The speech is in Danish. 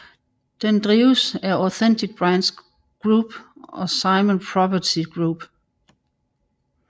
Den drives af Authentic Brands Group og Simon Property Group